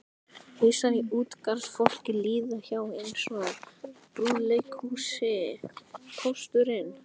Hausar á utangarðsfólki líða hjá eins og í brúðuleikhúsi: Pósturinn